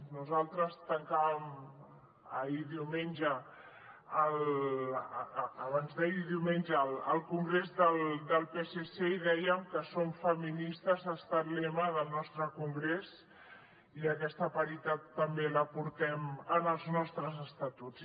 nosaltres tancàvem abans d’ahir diumenge el congrés del psc i dèiem que som feministes ha estat lema del nostre congres i aquesta paritat també la portem en els nostres estatuts